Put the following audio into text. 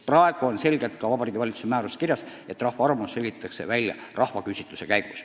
Praegu on selgelt ka Vabariigi Valitsuse määruses kirjas, et rahva arvamus selgitatakse välja rahvaküsitluse abil.